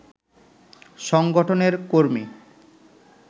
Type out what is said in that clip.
সংগঠনের কর্মী